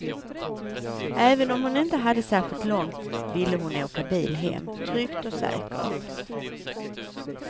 Även om hon inte hade särskilt långt ville hon åka bil hem, tryggt och säkert.